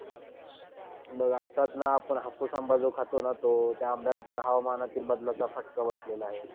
मग आताच ना आपण जो हापूस आंबा खातो ना, तो त्या आंब्याला पण हवामानातील बदलाचा फटका बसलेला आहे.